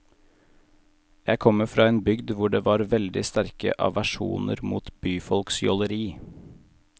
Jeg kommer fra en bygd hvor det var veldig sterke aversjoner mot byfolks jåleri.